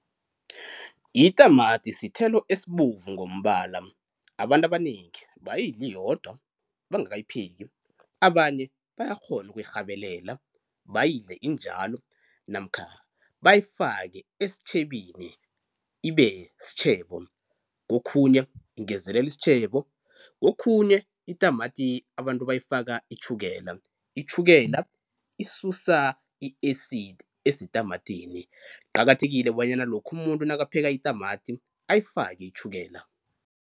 Itamati sithelo esibovu ngombala, abantu abanengi bayidla iyodwa bangakayipheki, abanye bayakghona ukuyirhabelela bayidle injalo namkha bayifake esitjhebeni ibe sitjhebo. Kokhunye ingezelela isitjhebo, kokhunye itamati abantu bayifaka itjhukela, itjhukela isusa i-acid esetamatini kuqakathekile bonyana lokha muntu nakapheka itamati ayifake itjhukela.